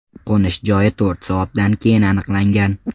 Qo‘nish joyi to‘rt soatdan keyin aniqlangan.